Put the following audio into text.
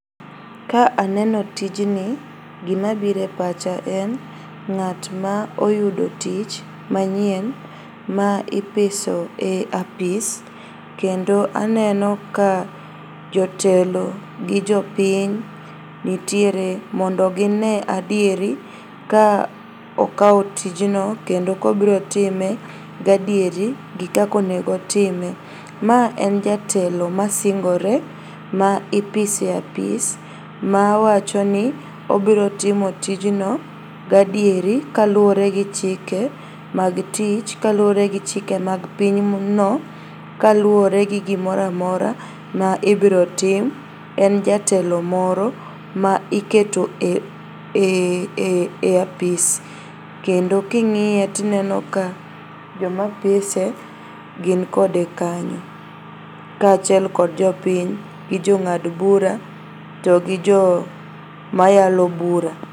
Ka aneno tijni gimabire pacha en ng'atma oyudo tich manyien ma ipiso e apis kendo aneno ka jotelo gi jopiny nitiere mondo ginee adieri ka okao tijno kendo kobrotime gadieri gi kakonegotime. Ma en jatelo masingore ma ipiso e apis mawachoni obrotimo tijno gadieri kaluore gi chike mag tich, kaluore gi chike mag pinyno. Kaluore gi gimoramora ma ibrotim. En jatelo moro ma iketo e apis kendo king'iye tineno ka jomopise gin kode kanyo kachiel kod jopiny gi jong'ad bura to gi jo, mayalo bura.